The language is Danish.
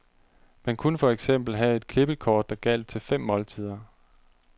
Man kunne for eksempel have et klippekort, der gjaldt til fem måltider.